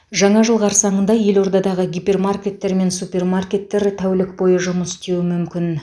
жаңа жыл қарсаңында елордадағы гипермаркеттер мен супермаркеттер тәулік бойы жұмыс істеуі мүмкін